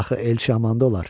Axı Elçi amanda olar.